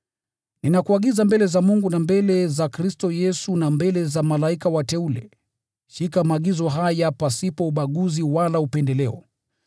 Ninakuagiza mbele za Mungu na mbele za Kristo Yesu na mbele za malaika wateule, shika maagizo haya pasipo ubaguzi wala upendeleo.